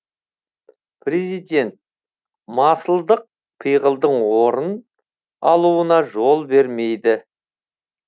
президент масылдық пиғылдың орын алуына жол берілмейді